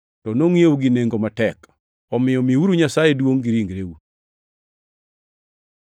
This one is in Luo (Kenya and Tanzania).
to nongʼiewu gi nengo matek. Omiyo miuru Nyasaye duongʼ gi ringreu.